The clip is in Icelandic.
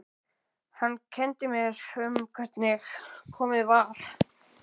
Hann kenndi sér um hvernig komið var.